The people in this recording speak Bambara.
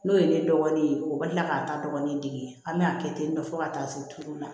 N'o ye ne dɔgɔnin ye o bɛ kila k'a ta dɔgɔnin dege an bɛ a kɛ ten tɔ ka taa se duuru ma